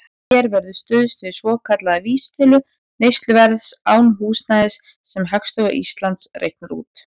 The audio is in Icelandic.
Hér verður stuðst við svokallaða vísitölu neysluverðs án húsnæðis, sem Hagstofa Íslands reiknar út.